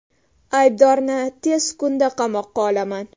Aybdorni tez kunda qamoqqa olaman.